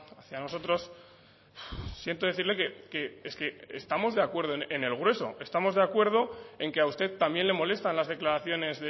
hacia nosotros siento decirle que es que estamos de acuerdo en el grueso estamos de acuerdo en que a usted también le molestan las declaraciones